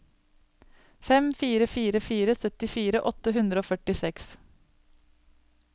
fem fire fire fire syttifire åtte hundre og førtiseks